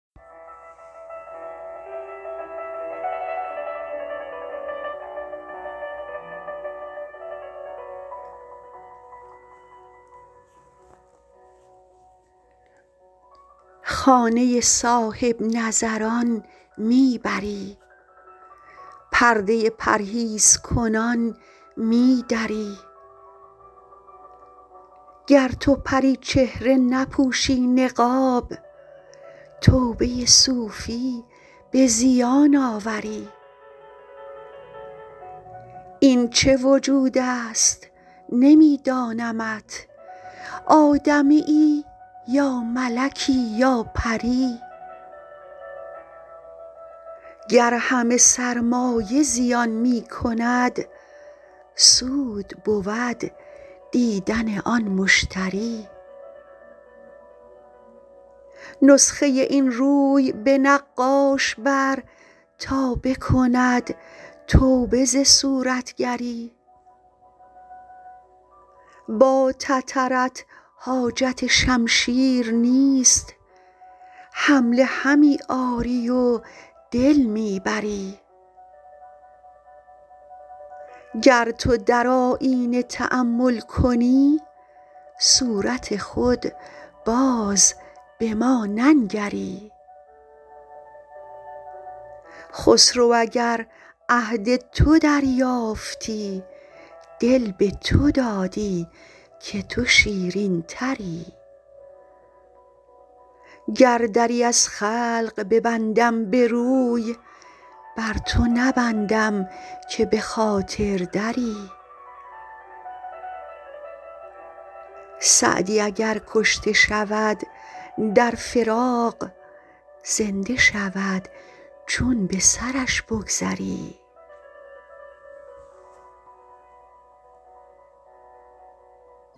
خانه صاحب نظران می بری پرده پرهیزکنان می دری گر تو پری چهره نپوشی نقاب توبه صوفی به زیان آوری این چه وجود است نمی دانمت آدمیی یا ملکی یا پری گر همه سرمایه زیان می کند سود بود دیدن آن مشتری نسخه این روی به نقاش بر تا بکند توبه ز صورتگری با تترت حاجت شمشیر نیست حمله همی آری و دل می بری گر تو در آیینه تأمل کنی صورت خود باز به ما ننگری خسرو اگر عهد تو دریافتی دل به تو دادی که تو شیرین تری گر دری از خلق ببندم به روی بر تو نبندم که به خاطر دری سعدی اگر کشته شود در فراق زنده شود چون به سرش بگذری